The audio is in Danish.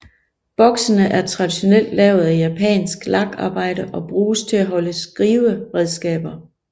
Boksene er traditionelt lavet af japansk lakarbejde og bruges til at holde skriveredskaber